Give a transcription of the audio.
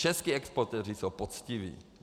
Čeští exportéři jsou poctiví.